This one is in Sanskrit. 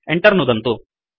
Enter नुदन्तु